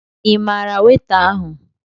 Ị maara weta ahụ?